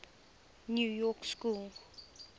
new york school